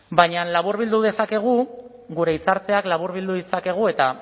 baina laburbildu dezakegu gure hitza hartzeak laburbildu ditzakegu eta